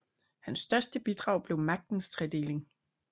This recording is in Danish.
Han største bidrag blev magtens tredeling